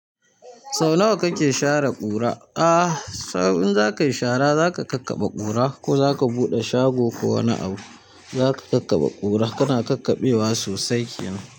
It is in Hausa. Sau nawa kake share ƙura? A'a, in za ka yi shara za ka kakkaɓe ƙura ko za ka buɗe shago ko wani abu. Za ka kakkaɓe ƙura, kana kakkaɓewa sosai ƙin.